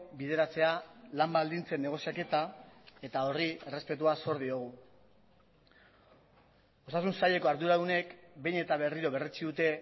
bideratzea lan baldintzen negoziaketa eta horri errespetua zor diogu osasun saileko arduradunek behin eta berriro berretsi dute